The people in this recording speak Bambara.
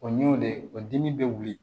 O y'o de o dimi bɛ wuli